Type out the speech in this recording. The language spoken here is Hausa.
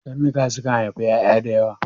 Karnuka sukan aifi ƴaƴa da yawa